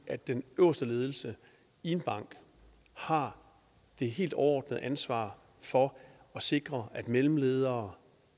at den øverste ledelse i en bank har det helt overordnede ansvar for at sikre at mellemledere